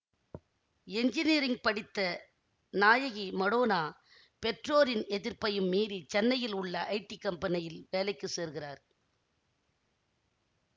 engineering படித்த நாயகி மடோனா பெற்றோரின் எதிர்ப்பையும் மீறி சென்னையில் உள்ள ஐடி கம்பெனியில் வேலைக்கு சேர்கிறார்